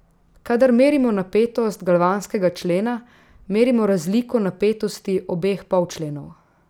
Kadar merimo napetost galvanskega člena, merimo razliko napetosti obeh polčlenov.